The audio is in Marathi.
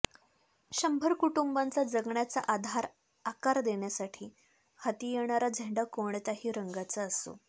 शंभर कुटुंबांचा जगण्याचा आधार आकार देण्यासाठी हाती येणारा झेंडा कोणत्याही रंगांचा असो